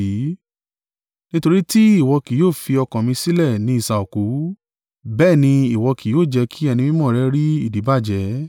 Nítorí tí ìwọ kí yóò fi ọkàn mi sílẹ̀ ni isà òkú, bẹ́ẹ̀ ni ìwọ kí yóò jẹ́ kí Ẹni Mímọ́ rẹ rí ìdíbàjẹ́.